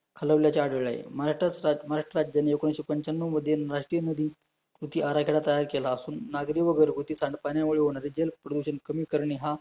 घालवल्याचे आढळले महाराष्ट्रास महाराष्ट्राच्या जेणे एकोणवीसशे पंचान्याव मध्ये, राष्ट्रीय मोदी कृती आराखेडा तयार केला असून, नागरी व घरघुती सांडपाण्यामुळे होणारे जल प्रदूषण कमी करणे हा